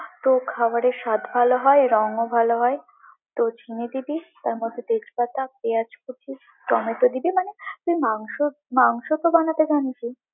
তো খাবারের স্বাদ ভালো হয়, রঙ্ও ভালো হয়, তো চিনি দিবি, তারমধ্যে তেজপাতা, পেঁয়াজ কুচি, টমেটো দিবি মানে তুই, মাংস, মাংসতো জানবি।